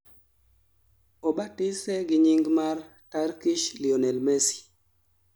obatise gi nying mar "turkish lionel messi"